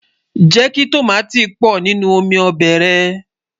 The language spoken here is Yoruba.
jékí tọ̀máti pò nínú omí óbè rè